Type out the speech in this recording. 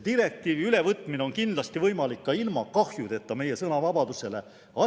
Direktiivi ülevõtmine on kindlasti võimalik ka ilma meie sõnavabadust kahjustamata.